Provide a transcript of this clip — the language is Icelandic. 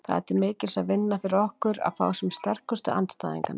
Það er til mikils að vinna fyrir okkur að fá sem sterkustu andstæðinganna.